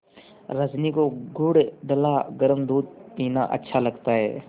रजनी को गुड़ डला गरम दूध पीना अच्छा लगता है